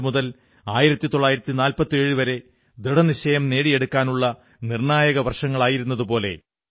1942 മുതൽ 1947 വരെ ദൃഢനിശ്ചയം നേടിയെടുക്കാനുള്ള നിർണ്ണായക വർഷങ്ങളായിരുന്നതുപോലെ